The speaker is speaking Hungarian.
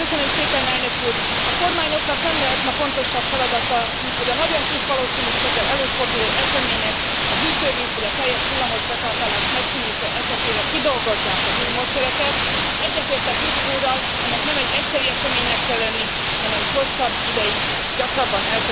A kormányoknak nem lehet ma fontosabb feladata, mint hogy a nagyon kis valószínűséggel előforduló események, a hűtővíz vagy a teljes villamos betáplálás megszűnése esetére kidolgozzák az új módszereket, s egyetértek Rübig úrral, ennek nem egy egyszeri eseménynek kell lenni, hanem hosszabb ideig, gyakrabban el kell ezeket végezni.